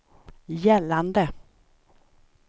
gällande